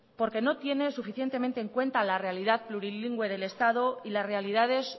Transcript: porque no tiene suficientemente en cuenta la realidad plurilingüe del estado y las realidades